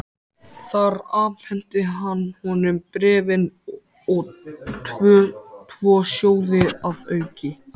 Þar afhenti hann honum bréfin og tvo sjóði að auki.